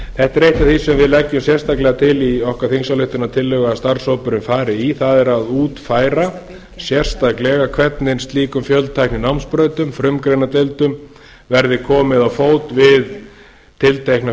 er eitt af því sem við leggjum sérstaklega til í okkar þingsályktunartillögu að starfshópurinn fari í það er að útfæra sérstaklega hvernig slíkum fjöltækninámsbrautum frumgreinadeildum verði komið á fót við tiltekna